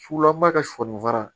Sulama ka sɔɔni fara